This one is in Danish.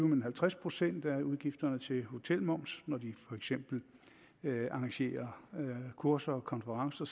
men halvtreds procent af udgifterne til hotelmoms når de for eksempel arrangerer kurser konferencer